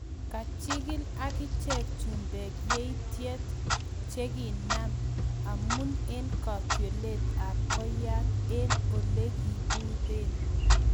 Kachigili agicheg chumbeg yaityet chegiinam amun en katyolett ab koiyat en olegiburen